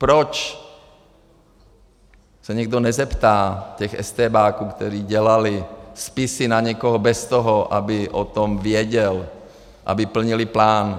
Proč se někdo nezeptá těch estébáků, kteří dělali spisy na někoho bez toho, aby o tom věděl, aby plnili plán?